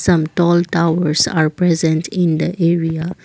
some tall towers are present in the area.